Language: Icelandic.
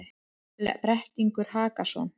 Brettingur Hakason,